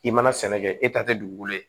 I mana sɛnɛ kɛ e ta tɛ dugukolo ye